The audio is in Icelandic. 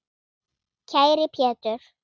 Kæri Pétur.